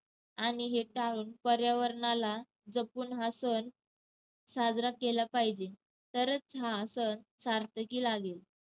आणि हे टाळून पर्यावरणाला जपून हा सण साजरा केला पाहिजे. तरच हा सण सार्थकी लागेल.